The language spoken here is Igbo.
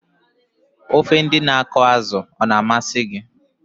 Ofe ndị na akọ azụ a-na amasị gị?